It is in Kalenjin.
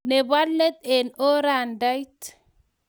Ne bo let eng orodait.